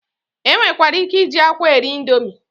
E nwekwara ike iji akwa eri indomi.